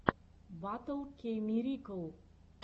батл кейммирикл